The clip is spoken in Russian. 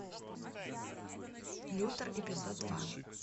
лютер эпизод два